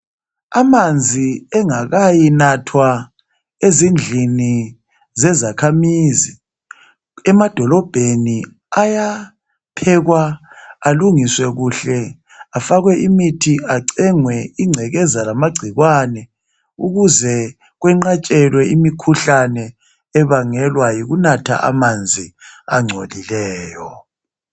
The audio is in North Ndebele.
Amanzi engakayinathwa ezindlini zezakhamizi emadolobheni ayaphekwa alungiswe kuhle afakwe imithi acengwe ingcekeza lamagciwane ukuze kwenqatshelwe imikhuhlane ebangelwa yikunatha amanzi angcolileyo.